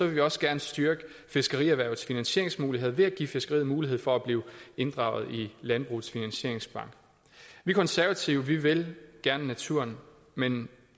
vi også gerne styrke fiskerierhvervets finansieringsmuligheder ved at give fiskeriet mulighed for at blive inddraget i landbrugets finansieringsbank vi konservative vil vil gerne naturen men